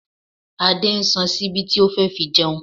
Adé ń san ṣíbí tí ó fẹ́ fi jẹun